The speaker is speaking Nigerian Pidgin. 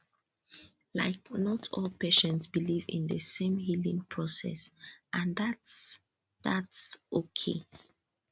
like not all patients believe in the same healing process and thats thats okay